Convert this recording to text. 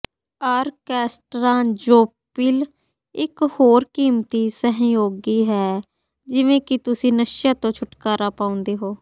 orchestra ਜੋਪੀਲ ਇਕ ਹੋਰ ਕੀਮਤੀ ਸਹਿਯੋਗੀ ਹੈ ਜਿਵੇਂ ਕਿ ਤੁਸੀਂ ਨਸ਼ਿਆਂ ਤੋਂ ਛੁਟਕਾਰਾ ਪਾਉਂਦੇ ਹੋ